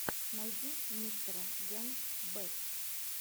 найти мистера генс бэст